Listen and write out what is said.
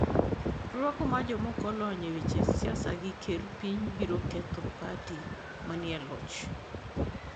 Rwako mar joma ok olony e weche siasa gi kerr piny biro ketho pati manie loch.